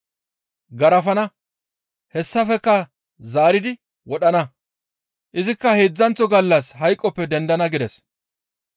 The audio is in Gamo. Garafana; hessafekka zaaridi wodhana; izikka heedzdzanththo gallas hayqoppe dendana» gides.